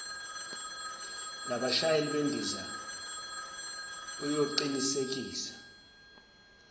labashayeli bendiza uyoqinisekisa